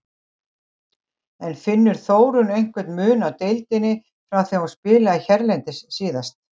En finnur Þórunn einhvern mun á deildinni frá því að hún spilaði hérlendis síðast?